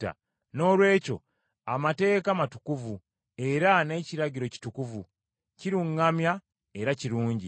Noolwekyo amateeka matukuvu, era n’ekiragiro kitukuvu, kiruŋŋamya era kirungi.